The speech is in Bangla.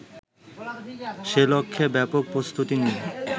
সেলক্ষ্যে ব্যাপক প্রস্তুতি নিয়ে